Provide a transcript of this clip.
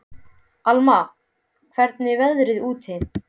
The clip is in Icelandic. Alma, hvernig er veðrið úti?